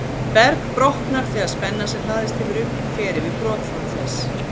Berg brotnar þegar spenna sem hlaðist hefur upp, fer yfir brotþol þess.